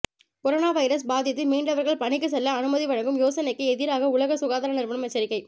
corona virus பாதித்து மீண்டவர்கள் பணிக்கு செல்ல அனுமதி வழங்கும் யோசனைக்கு எதிராக உலக சுகாதார நிறுவனம் எச்சரிக்கை